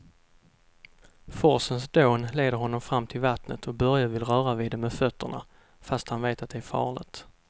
Forsens dån leder honom fram till vattnet och Börje vill röra vid det med fötterna, fast han vet att det är farligt.